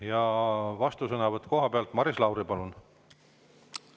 Ja vastusõnavõtt kohapealt, Maris Lauri, palun!